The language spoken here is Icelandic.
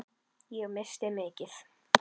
Ég missti mikið.